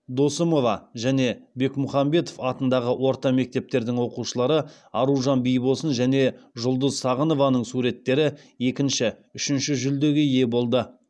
досымова және бекмұхамбетов атындағы орта мектептердің оқушылары аружан бибосын және жұлдыз сағынованың суреттері екінші үшінші жүлдеге ие болды